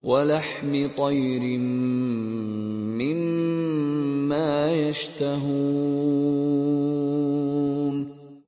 وَلَحْمِ طَيْرٍ مِّمَّا يَشْتَهُونَ